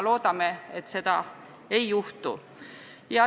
Loodame siiski, et seda ei juhtu.